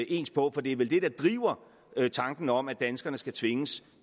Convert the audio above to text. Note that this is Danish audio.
ens på for det er vel det der driver tanken om at danskerne skal tvinges